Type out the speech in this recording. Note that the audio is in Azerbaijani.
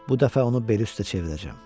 Bu dəfə onu beli üstə çevirəcəm.